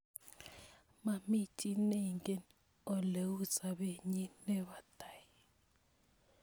Mami chi neingen ole u sopennyi ne po tai